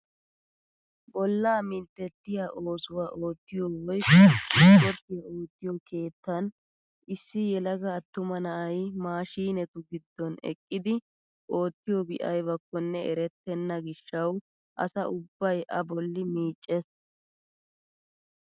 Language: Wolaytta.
Bollaa minttettiyaa oosuwaa oottiyoo woykko isporttiyaa oottiyoo keettan issi yelaga attuma na'ay maashinetu giddon eqqidi oottiyobi aybakkone erettena gishshawu asa ubbay a bolli miiccees!